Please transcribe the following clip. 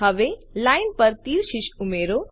હવે લાઇન પર તીર શીર્ષ ઉમેરો